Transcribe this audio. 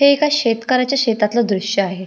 हे एका शेतकऱ्याच्या शेतातल दृश्य आहे.